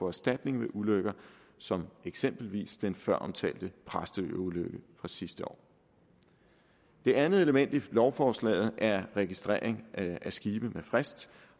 erstatning ved ulykker som eksempelvis den føromtalte præstøulykke fra sidste år det andet element i lovforslaget er registrering af skibe med frist